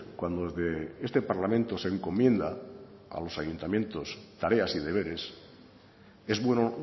cuando desde este parlamento se encomienda a los ayuntamientos tareas y deberes es bueno